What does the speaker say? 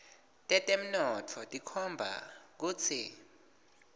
tetemnotfo tikhomba kutsi